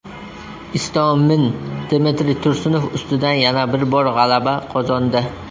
Istomin Dmitriy Tursunov ustidan yana bir bor g‘alaba qozondi.